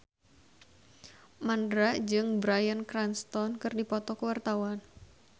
Mandra jeung Bryan Cranston keur dipoto ku wartawan